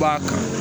B'a kan